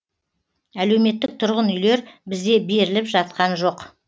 әлеуметтік тұрғын үйлер бізде беріліп жатқан жоқ